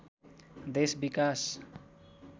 देश विकास